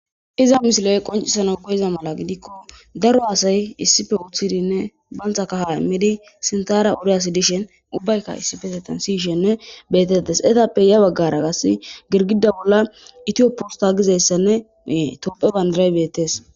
iza mishiley qoncisana koyiza mala gidikko daro aasay issife uththidinne bantha kaha immidi sintara uriyasi dishen ubbaykka issifese tansiyshenne betettes etappe ya baggara gas girgida bolla itiyoppusta gizayssanneee topphe bandiray beettes